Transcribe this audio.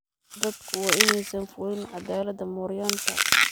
Dadku waa inaysan fulin cadaaladda mooryaanta.